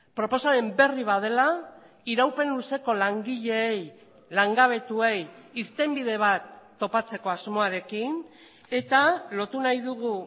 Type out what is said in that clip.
proposamen berri bat dela iraupen luzeko langileei langabetuei irtenbide bat topatzeko asmoarekin eta lotu nahi dugu